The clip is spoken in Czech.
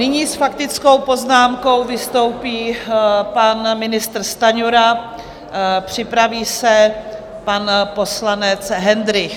Nyní s faktickou poznámkou vystoupí pan ministr Stanjura, připraví se pan poslanec Hendrych.